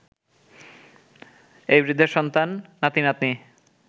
এই বৃদ্ধের সন্তান, নাতি-নাতনি